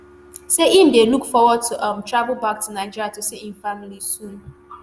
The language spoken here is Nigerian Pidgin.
say im dey look forward to um travel back to nigeria to see im family soon